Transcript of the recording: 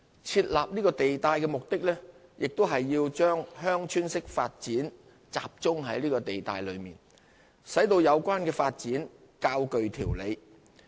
設立此地帶的目的，亦是要把鄉村式發展集中在地帶內，使有關發展較具條理。